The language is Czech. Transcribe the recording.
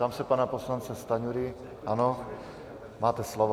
Ptám se pana poslance Stanjury - ano, máte slovo.